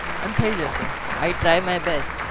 અને થઇ જશે